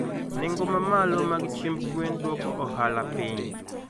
Nengo ma malo mag chiemb gwen duoko ohala piny.